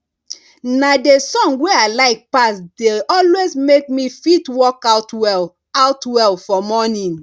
na the song wey i like pass dey always make me fit work out well out well for morning